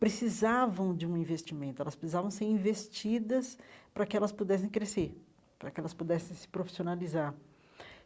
precisavam de um investimento, elas precisavam ser investidas para que elas pudessem crescer, para que elas pudessem se profissionalizar.